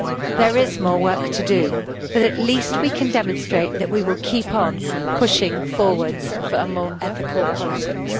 There is more work to do, but at least we can demonstrate that we will keep on pushing forwards for more ethical politics.